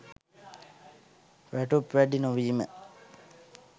වැටුප් වැඩි නොවීම